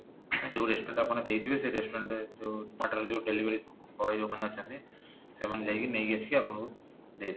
ଯୋଉ restaurant ରେ ଆପଣ ଦେଇଥିବେ ସେଇ restaurant ରେ ଯୋଉ ଯୋଉ delivery boy ଯୋଉମାନେ ଅଛନ୍ତି ସେମାନେ ଯାଇକି ନେଇକି ଆସିକି ଆପଣାକୁ ଦେଇଦେବେ